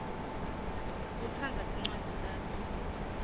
kutsandza tincwadzi takho